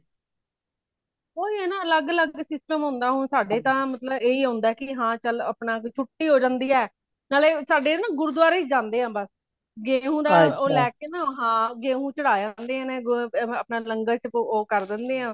ਓਹੀ ਹੈ ਨਾ ਅਲੱਗ ਅਲੱਗ system ਹੋਂਦਾ ਹੁਣ ਸਾਡੇ ਤਾ ਮਤਲਬ ਇਹੀ ਹੋਂਦਾ ਕਿ ਹਾਂ ਚਲ ਅਪਣਾ ਕਿ ਛੁੱਟੀ ਹੋਂ ਜਾਂਦੀ ਹੈ ,ਨਾਲੇ ਸਾਡੇ ਨਾ ਗੁਰਦੁਆਰੇ ਹੀ ਜਾਂਦੇ ਹਾਂ ਬਸ ਗੇਹੁ ਦਾ ਉਹ ਲੇ ਕੇ ਨਾ ਹਾਂ ਗੇਹੁ ਚੜਾ ਆਂਦੇ ਅਪਣਾ ਲੰਗਰ ਉਹ ਕਰ ਦੇਂਦੇ ਹਾਂ